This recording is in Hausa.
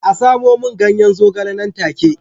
A samo min ganyen zogale nan take